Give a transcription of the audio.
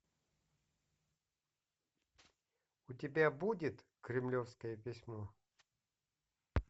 у тебя будет кремлевское письмо